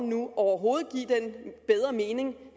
nu overhovedet give den bedre mening